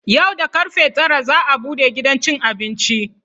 Yau da karfe tara za a bude gidan cin abinci.